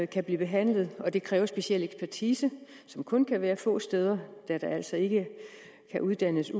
kan blive behandlet det kræver speciel ekspertise som kun kan være få steder da der altså ikke kan uddannes